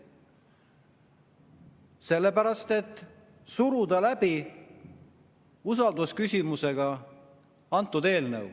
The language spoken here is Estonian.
Sellepärast, et suruda see eelnõu läbi usaldusküsimusega seotuna.